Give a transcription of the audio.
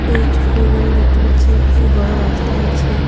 এই ছবিটিতে আমি দেখতে পাচ্ছি একটি বড় রাস্তা আছে.